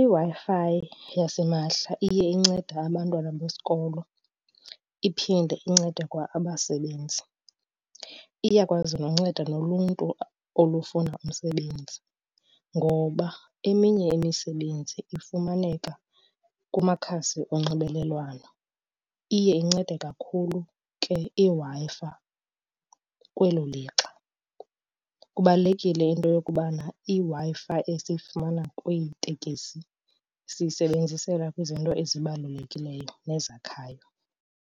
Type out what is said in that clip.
IWi-Fi yasimahla iye incede abantwana besikolo iphinde incede kwa abasebenzi. Iyakwazi nonceda noluntu olufuna umsebenzi ngoba eminye imisebenzi ifumaneka kumakhasi onxibelelwano. Iye incede kakhulu ke iWi-Fi kwelo lixa. Kubalulekile into yokubana iWi-Fi esiyifumana kwiitekisi siyisebenzisela kwizinto ezibalulekileyo nezakhayo.